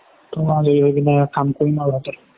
অকমাণ আজৰি হৈ পিনে কাম কৰিম আৰু ৰাতি